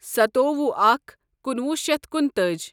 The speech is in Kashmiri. سَتووُہ اکھَ کنُوہُ شیتھ کنُتأج